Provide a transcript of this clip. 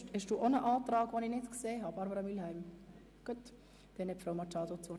Haben Sie auch einen Antrag, den ich nicht gesehen habe, Grossrätin Mühlheim?